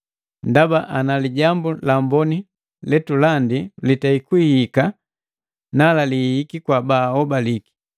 Ndaba ana Lijambu la Amboni letulandi litei kuhihika, nala lihihiki kwa baaobiki.